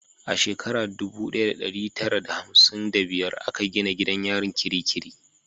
A shekara dubu daya da dari tara da hamsin wa biyar a ka gina gidan yarin Kirikiri